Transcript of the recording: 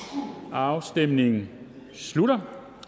afstemningen slutter